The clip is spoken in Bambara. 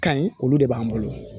Ka ɲi olu de b'an bolo